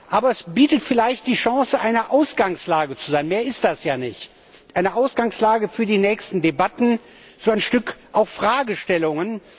Aber es bietet vielleicht die Chance, eine Ausgangslage zu sein mehr ist das ja nicht eine Ausgangslage für die nächsten Debatten, auch Fragestellungen.